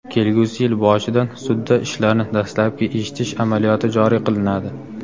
kelgusi yil boshidan sudda ishlarni dastlabki eshitish amaliyoti joriy qilinadi.